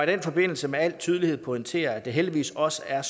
den forbindelse med al tydelighed pointere at det heldigvis også er